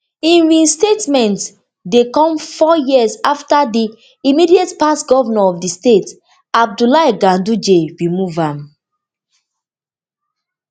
im reinstatement dey come four years afta di immediatepast govnor of di state abdullahi ganduje remove am